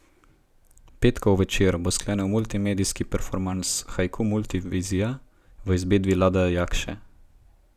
Petkov večer bo sklenil multimedijski performans Haiku multivizija v izvedbi Lada Jakše.